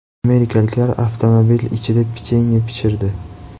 Amerikaliklar avtomobil ichida pechenye pishirdi .